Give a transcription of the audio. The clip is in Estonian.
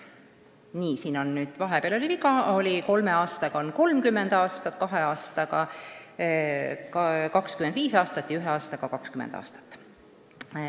Ei, siin sattus viga sisse: kolme aasta korral on staažinõue 30 aastat, kahe aasta korral 25 aastat ja ühe aasta korral 20 aastat.